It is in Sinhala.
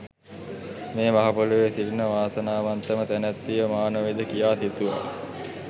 මේ මහ පොළොවේ සිටින වාසනාවන්තම තැනැත්තිය මා නොවේද කියා සිතුවා.